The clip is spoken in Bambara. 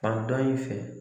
Fan dɔ in fɛ